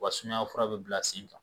U ka sumayafura bɛ bila sen kan.